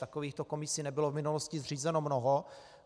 Takovýchto komisí nebylo v minulosti zřízeno mnoho.